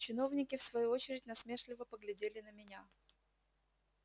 чиновники в свою очередь насмешливо поглядели на меня